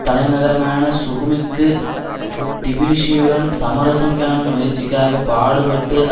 தலைநகரமான சுகுமிக்கு டிபிலிசியுடன் சமரசம் காணும் முயற்சிக்காகப் பாடுபட்டு